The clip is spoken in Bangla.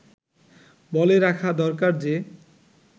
বলে রাখা দরকার যে